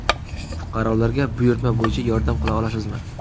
Fuqarolarga buyurtma bo‘yicha yordam qila olasizmi?